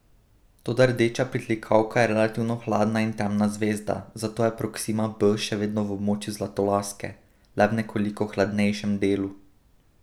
Toda rdeča pritlikavka je relativno hladna in temna zvezda, zato je Proksima b še vedno v območju Zlatolaske, le v nekoliko hladnejšem delu.